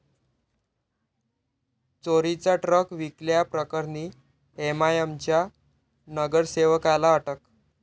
चोरीचा ट्रक विकल्याप्रकरणी एमआयएमच्या नगरसेवकाला अटक